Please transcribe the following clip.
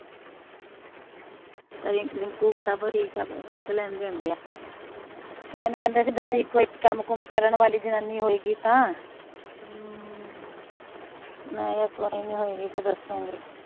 ਤੇ ਮੈਨੂੰ ਕਹਿੰਦੇ ਸੀ ਦਸੀ ਕੋਈ ਕਮ ਕੁਮ ਕਰਨ ਵਾਲੀ ਜਨਾਨੀ ਹੋਏਗੀ ਤਾ ਮੈਂ ਕੇਹਾ ਹੋਏਗੀ ਤਾ ਦਸੂਗੀ